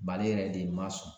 Mali yɛrɛ de ma sɔn